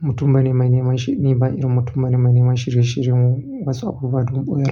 mutum bane mai neman shi, ni ban yi ba. Mutum bane mai neman shirye-shiryen wasu abubuwa dun ɓuya.